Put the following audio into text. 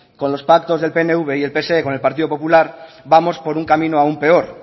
con los pactos del pnv y del pse con el partido popular vamos por un camino aun peor